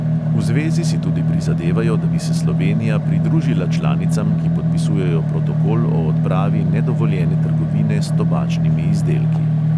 V zvezi si tudi prizadevajo, da bi se slovenija pridružila članicam, ki podpisujejo protokol o odpravi nedovoljene trgovine s tobačnimi izdelki.